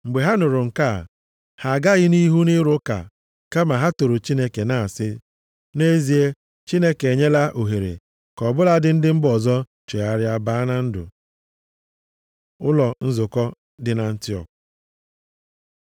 Mgbe ha nụrụ nke a, ha agaghị nʼihu nʼịrụ ụka kama ha toro Chineke, na-asị, “Nʼezie, Chineke enyela ohere ka ọ bụladị ndị mba ọzọ chegharịa baa na ndụ.” Ụlọ nzukọ dị na Antiọk